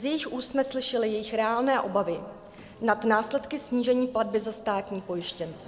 Z jejich úst jsme slyšeli jejich reálné obavy nad následky snížení platby za státní pojištěnce.